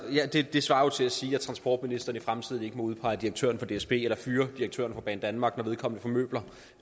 det svarer jo til at sige at transportministeren i fremtiden ikke må udpege direktøren for dsb eller fyre direktøren for banedanmark når vedkommende formøbler